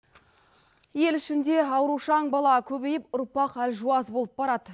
ел ішінде аурушаң бала көбейіп ұрпақ әлжуаз болып барады